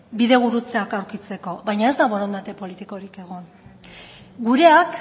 bidegurutzeak lortzeko baina ez da borondate politikorik egon gureak